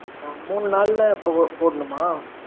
மூணு நாளுல போடணுமா?